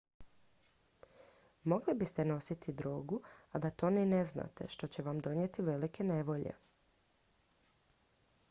mogli biste nositi drogu a da to ni ne znate što će vam donijeti velike nevolje